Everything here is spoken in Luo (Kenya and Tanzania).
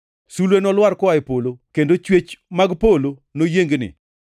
Sulwe nolwar koa e polo, kendo chwech mag polo noyiengni!’ + 13:25 \+xt Isa 13:10; 34:4\+xt*